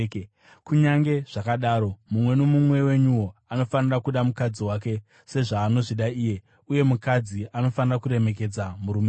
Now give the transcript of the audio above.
Kunyange zvakadaro, mumwe nomumwe wenyuwo anofanira kuda mukadzi wake sezvaanozvida iye, uye mukadzi anofanira kuremekedza murume wake.